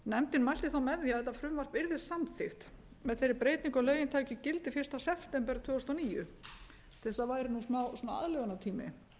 nefndin mælti þá með hvað þetta frumvarp yrði samþykkt með þeirri breytingu að lögin tækju gildi fyrsta september tvö þúsund og níu til þess að væri nú smá aðlögunartími